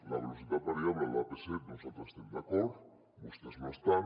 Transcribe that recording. amb la velocitat variable a l’ap set nosaltres hi estem d’acord vostès no hi estan